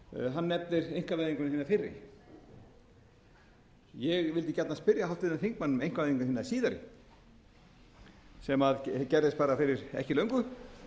hann nefnir einkavæðinguna hina fyrri ég vildi gjarnan spyrja háttvirtan þingmann um einkavæðinguna hina síðari sem gerðist bara fyrir ekki löngu